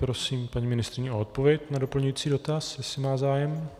Prosím paní ministryni o odpověď na doplňující dotaz, jestli má zájem.